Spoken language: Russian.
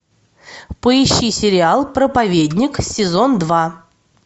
поищи сериал проповедник сезон два